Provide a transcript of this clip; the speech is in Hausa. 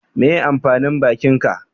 Meye amfanin bakin ka?